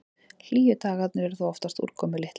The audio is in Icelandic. Hlýju dagarnir eru þó oftast úrkomulitlir.